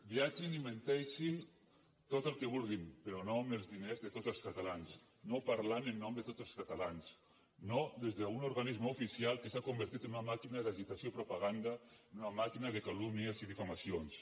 viatgin i menteixin tot el que vulguin però no amb els diners de tots els catalans no parlant en nom de tots els catalans no des d’un organisme oficial que s’ha convertit en una màquina d’agitació i propaganda en una màquina de calúmnies i difamacions